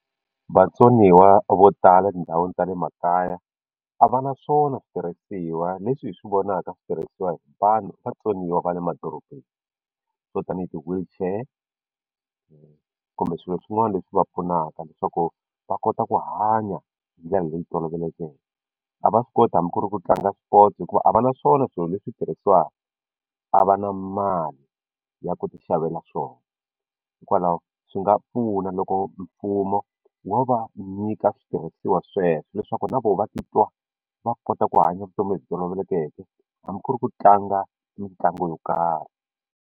Vatsoniwa vo tala etindhawini ta le makaya a va na swona switirhisiwa leswi hi swi vonaka swi tirhisiwa hi vanhu vatsoniwa va le madorobeni swo tanihi ti-wheelchair kumbe swilo swin'wana leswi va pfunaka leswaku va kota ku hanya hi ndlela leyi tolovelekeke a va swi koti hambi ku ri ku tlanga swipotso hikuva a va na swona swilo leswi tirhisiwaka a va na mali ya ku ti xavela swona hikwalaho swi nga pfuna loko mfumo wo va nyika switirhisiwa sweswo leswaku na vona va titwa va kota ku hanya vutomi lebyi tolovelekeke hambi ku ri ku tlanga mitlangu yo karhi.